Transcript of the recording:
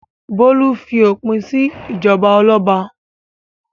Bólú fi òpin sí ìjọba ọlọ́ba.